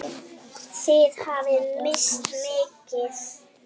Þið hafið misst mikið.